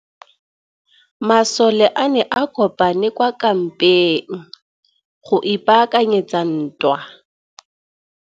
Masole a ne a kopane kwa kampeng go ipaakanyetsa ntwa.